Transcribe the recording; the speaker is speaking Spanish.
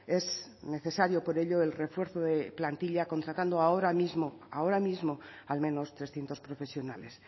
es necesario por ello el refuerzo de la plantilla contratando ahora mismo ahora mismo al menos trescientos profesionales